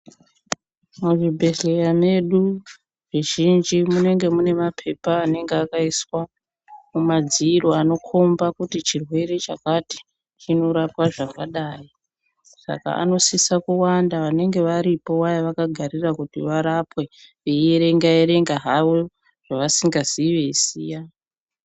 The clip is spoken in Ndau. Muzvibhedhleya medu, muzhinji munenge mune maphepha anenga akaiswa mumadziro, anokhomba kuti chirwere chakati, chinorapwa zvakadai, saka anosisa kuwanda vanenge varipo vaya vakagarira kuti varapwe ,veierenga-erenga havo, zvavasikazii veisiya.